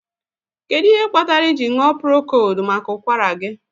Kedụ ihe kpatara iji ṅụọ prokold maka ụkwara gị?